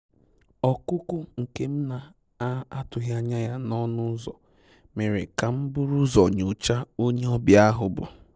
Ọ́kụ́kụ́ nke m na-atụ́ghị́ ányá yá n'ọnụ́ ụ́zọ̀ mèrè kà m búrú ụ́zọ̀ nyòcháá ónyé ọ́bị̀à ahụ́ bù.